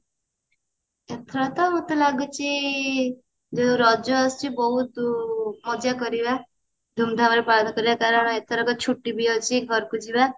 ଏଥର ତ ମତେ ଲାଗୁଚି ଯୋଉ ରଜ ଆସୁଛି ବହୁତ ମଜା କରିବା ଧୁମଧାମ ରେ ପାଳନ କରିବା କାରଣ ଏଥରକ ଛୁଟି ବି ଅଛି ଘରକୁ ଯିବା